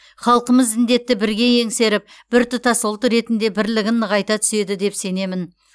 халқымыз індетті бірге еңсеріп біртұтас ұлт ретінде бірлігін нығайта түседі деп сенемін